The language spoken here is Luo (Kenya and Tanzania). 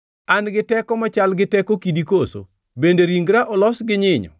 An gi teko machal gi teko kidi koso? Bende ringra olos gi nyinyo?